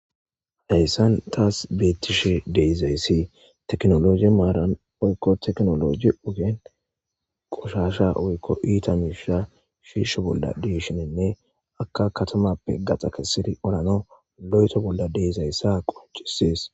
hayssan taas beettishe deezayssi teknoloji maaran oykko teknologi ogeen qushasha oykko iita miisha shiisho bolla deshinenne akka katamappe gaxa kesiri orano lo7eto bolla deezayssa qonchisies